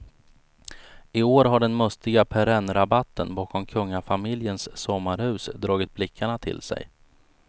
I år har den mustiga perennrabatten bakom kungafamiljens sommarhus dragit blickarna till sig.